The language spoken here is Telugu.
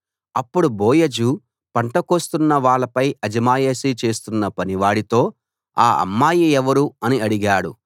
అప్పుడు బోయజు పంట కోస్తున్న వాళ్ళపై అజమాయిషీ చేస్తున్న పనివాడితో ఆ అమ్మాయి ఎవరు అని అడిగాడు